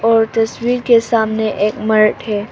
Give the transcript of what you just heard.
और तस्वीर के सामने एक मर्द है।